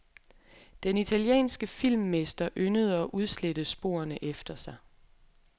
Den italienske filmmester yndede at udslette sporene efter sig.